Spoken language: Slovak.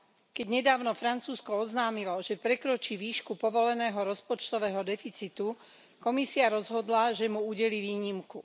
Keď nedávno Francúzsko oznámilo, že prekročí výšku povoleného rozpočtového deficitu, Komisia rozhodla, že mu udelí výnimku.